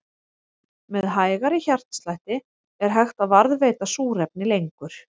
Með hægari hjartslætti er hægt að varðveita súrefni lengur.